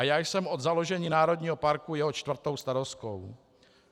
A já jsem od založení národního parku jeho čtvrtou starostkou.